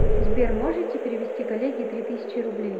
сбер можете перевести коллеге три тысячи рублей